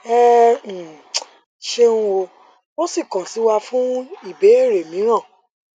ẹ um ṣeun o ṣeun o sì kàn sí wa fún àwọn ìbéèrè mìíràn